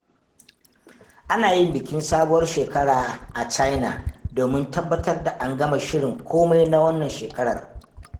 Ana yin bikin Sabuwar Shekara a China domin tabbatar da an gama shirin komai na wannan shekarar.